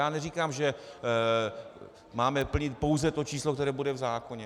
Já neříkám, že máme plnit pouze to číslo, které bude v zákoně.